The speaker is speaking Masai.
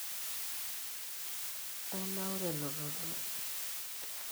ainaura elototo